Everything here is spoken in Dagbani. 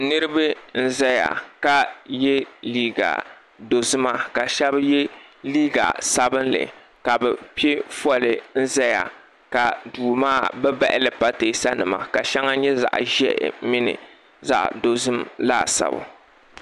Niriba n zaya ka ye liiga dozima ka sheba ye liiga sabinli la bɛ piɛ foli zaya ka duu maa bɛ bahili pateesa nima ka sheŋɔ nyɛ zaɣa ʒehi mini zaɣa dozim laasabu.